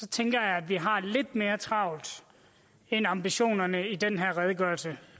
tænker jeg at vi har lidt mere travlt end ambitionerne i den her redegørelse